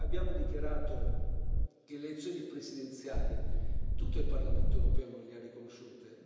Abbiamo dichiarato che le elezioni presidenziali, tutto il Parlamento europeo non le ha riconosciute.